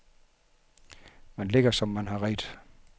Man ligger, som man har redt.